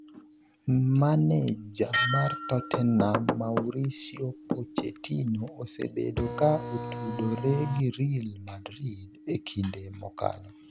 Maneja mar Tottenham Mauricio Pochettino osebedo ka otudore gi real Madrid e kinde mokalo.